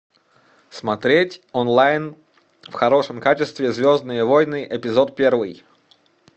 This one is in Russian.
смотреть онлайн в хорошем качестве звездные войны эпизод первый